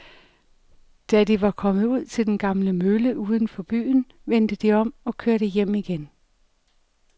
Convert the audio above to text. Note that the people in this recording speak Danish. Da de var kommet ud til den gamle mølle uden for byen, vendte de om og kørte hjem igen.